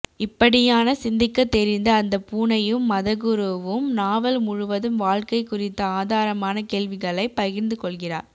இப்படியான சிந்திக்க தெரிந்த அந்த பூனையும் மதகுருவும் நாவல் முழுவதும் வாழ்க்கை குறித்த ஆதாரமான கேள்விகளை பகிர்ந்து கொள்கிறார்